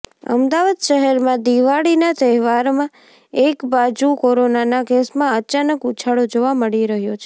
અમદાવાદઃ શહેરમાં દિવાળીના તહેવારમાં એકબાજુ કોરોનાના કેસમાં અચાનક ઉછાળો જોવા મળી રહ્યો છે